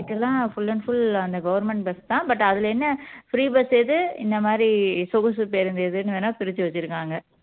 இங்கிட்டு எல்லாம் full and full அந்த government bus தான் but அதுல என்ன free bus எது இந்த மாதிரி சொகுசு பேருந்து எதுன்னு வேணும்னா பிரிச்சு வச்சுருக்காங்க